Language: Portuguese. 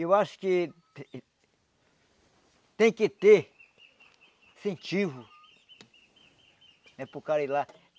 Eu acho que tem que ter incentivo, né, para o cara ir lá.